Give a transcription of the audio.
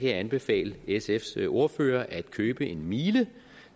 jeg anbefale sfs ordfører at købe en miele